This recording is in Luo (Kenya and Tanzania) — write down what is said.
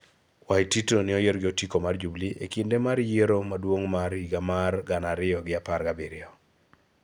Waititu noyier gi otiko mar Jubili e kinde mar Yiero Maduong' mar higa mar gana ariyo gi apar gi abiriyo.